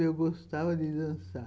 Eu gostava de dançar.